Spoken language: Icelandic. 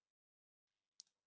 Finna sína eigin rödd þar.